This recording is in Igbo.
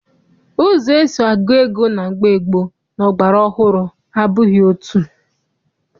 Ụzọ esi agụ ego na mgbe gboo na ọgbara ọhụrụ abụghị otu.